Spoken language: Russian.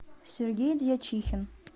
сергей дьячихин